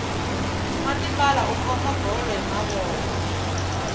nwa tipala u khoma bolo hi mavoko